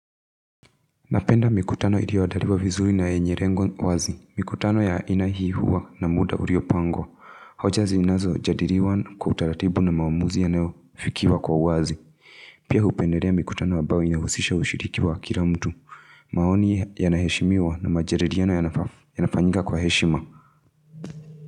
Napenda mikutano ikiandaliwa vizuri na yenye lengo wazi. Mikutano ya aina hii huwa na muda uliyopangwa. Hoja zinazojadiliwa kwa utaratibu na maamuzi yanayo fikiwa kwa uwazi. Pia hupendelea mikutano ambayo inahusisha ushiliki wa kila mtu. Maoni yanaheshimiwa na majadiliano yanafanyika kwa heshima.